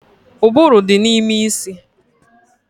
Ụbụrụ dị n'ime isi